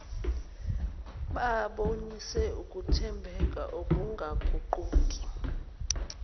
babonise ukuthembeka ukungaguquki